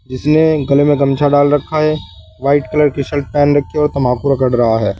जिसने गले में गमछा डाल रखा है वाइट कलर की शर्ट पहन रखी है और तंबाकू रगड़ रहा है।